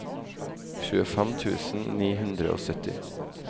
tjuefem tusen ni hundre og sytti